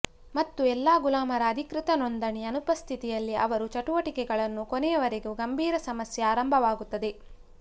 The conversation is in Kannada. ಮತ್ತು ಎಲ್ಲ ಗುಲಾಮರ ಅಧಿಕೃತ ನೋಂದಣಿ ಅನುಪಸ್ಥಿತಿಯಲ್ಲಿ ಅವರು ಚಟುವಟಿಕೆಗಳನ್ನು ಕೊನೆಯವರೆಗೆ ಗಂಭೀರ ಸಮಸ್ಯೆ ಆರಂಭವಾಗುತ್ತದೆ